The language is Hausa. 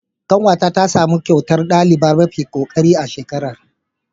Ƙanwata tasamu kyautar ɗaliba mafi kokari a shekarar.